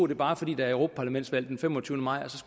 det bare er fordi der er europaparlamentsvalg den femogtyvende maj